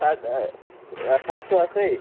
shirt টো আছেই?